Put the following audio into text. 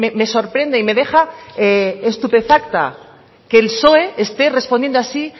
me sorprende y me deja estupefacta que el psoe esté respondiendo así